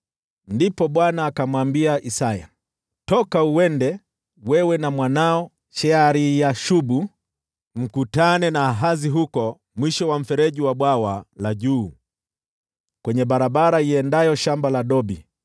Ndipo Bwana akamwambia Isaya, “Toka uende, wewe na mwanao Shear-Yashubu, mkutane na Ahazi huko mwisho wa mfereji wa Bwawa la Juu, kwenye barabara iendayo Shamba la Dobi.